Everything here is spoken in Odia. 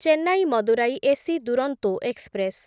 Chennai Madurai AC Duronto express